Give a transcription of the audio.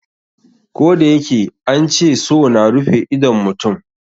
Koh da yake an ce so na rufe idon mutum.